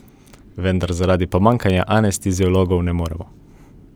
Vendar zaradi pomanjkanja anesteziologov ne moremo!